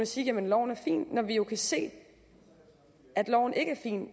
sige jamen loven er fin når vi jo kan se at loven ikke er fin